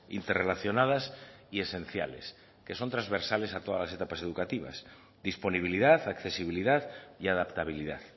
interrelacionadas y esenciales que son transversales a todas las etapas educativas disponibilidad accesibilidad y adaptabilidad